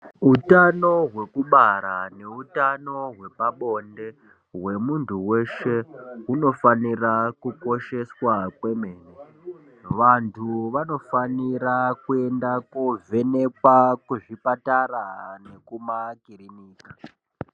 Utano hwekubara neutano hwepabonde hwemuntu weshe unofanira kukosheswa kwemene vantu vanofanira kuenda kovhenekwa kuzvipatara nekuma kuriniki.